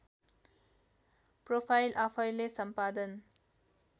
profile आफैँले सम्पादन